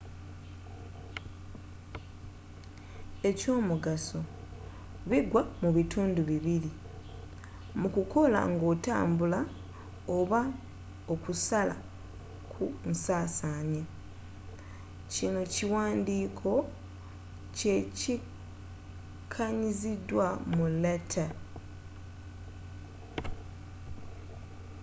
ekyomugaso bigwa mu bitundi bibiri:mu kukola nga otambula oba okusala ku nsasanya.kino ekiwanddiko kye kanyiziddwa mu latter